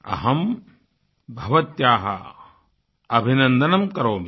अहं भवत्या अभिनन्दनं करोमि